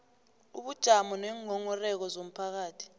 ubujamo neenghonghoreko zomphakathi